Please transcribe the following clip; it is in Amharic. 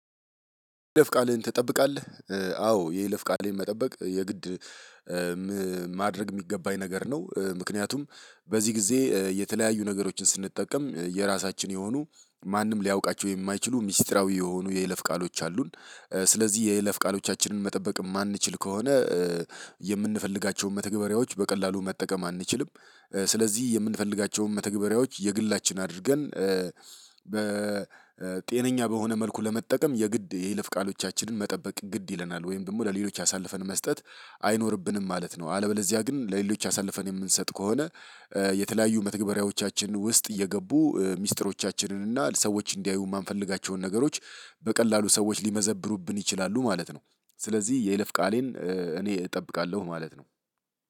የይለፍ ቃልህን ትጠብቃለህ? አዎ የይለፍ ቃልህን መጠበቅ የግድ ማድረግ የሚገባኝ ነገር ነው። ምክንያቱም በዚህ ጊዜ የተለያዩ ነገሮችን ስንጠቀም የራሳችን የሆኑ ማንም ሊያውቃቸው የማይችሉ ሚስጥራዊ የሆኑ የይለፍ ቃሎች አሉን። ስለዚህ የይለፍ ቃሎቻችንን መጠበቅ የማንችል ከሆነ የምንፈልጋቸውን መተግበሪያዎች በቀላሉ መጠቀም አንችልም። ስለዚህ የምንፈልጋቸውን መተግበሪያዎች የግላችን አድርገን በጤነኛ በሆነ መልኩ ለመጠቀም የግድ የይለፍ ቃሎቻችንን መጠበቅ ግድ ይለናል ወይም ደግሞ ለሌሎች አሳልፈን መስጠት አይኖርብንም ማለት ነው። አለበለዚያ ግን ለሌሎች አሳልፈን የምንሰጥ ከሆነ የተለያዩ መተግበሪያዎቻችን ውስጥ እየገቡ ሚስጥሮቻችንን እና ሰዎች እንዲያዩ የማንፈልጋቸውን ነገሮች በቀላሉ ሰዎች ሊመዘብሩብን ይችላሉ ማለት ነው። ስለዚህ የይለፍ ቃሌን እኔ እጠብቃለሁ ማለት ነው።